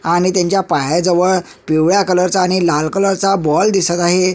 आणि त्यांच्या पाया जवळ पिवळ्या कलर च आणि लाल कलर चा बॉल दिसत आहे.